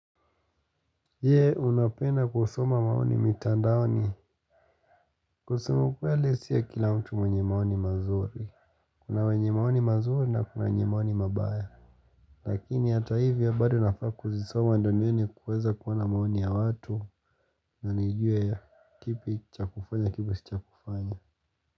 Ye unapenda kusoma maoni mitandaoni kusema kweli siyo kila mtu mwenye maoni mazuri kuna wenye maoni mazuri na kuna wenye maoni mabaya lakini hata hivyo bado nafaa kuzisoma ndo nioni kuweza kuona maoni ya watu na nijue kipi cha kufanya kipi si cha kufanya.